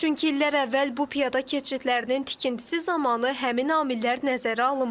Çünki illər əvvəl bu piyada keçidlərinin tikintisi zamanı həmin amillər nəzərə alınmayıb.